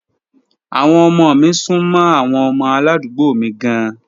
Àwọn ọmọ mi sún mọ́ àwọn ọmọ aládùúgbò mi gan-an.